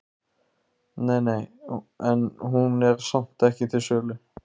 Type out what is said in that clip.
Nei, nei, en hún er samt ekki til sölu.